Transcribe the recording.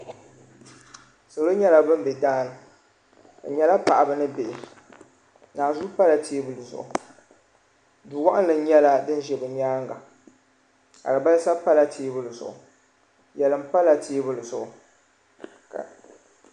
salo nyɛla ban be daani bɛ nyɛla paɣaba ni bihi nanzua pala teebuli zuɣu du' wɔɣinli nyɛla din ʒi bɛ nyaaga alibalisa pala teebuli zuɣu yelim pala teebuli zuɣu.